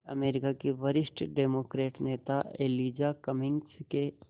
अमरीका के वरिष्ठ डेमोक्रेट नेता एलिजा कमिंग्स के